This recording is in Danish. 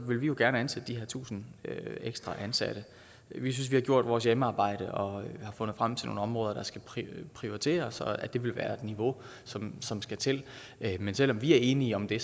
vil vi jo gerne ansætte de her tusind ekstra ansatte vi synes vi har gjort vores hjemmearbejde og har fundet frem til nogle områder der skal prioriteres og at det vil være det niveau som som skal til men selv om vi er enige om det